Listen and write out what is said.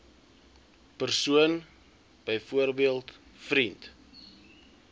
persoon byvoorbeeld vriend